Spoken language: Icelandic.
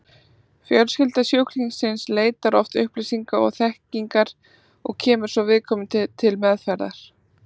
Fjölskylda sjúklingsins leitar oft upplýsinga og þekkingar og kemur svo viðkomandi til meðferðar.